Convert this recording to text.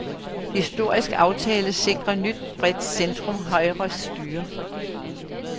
Historisk aftale sikrer nyt bredt centrumhøjre styre.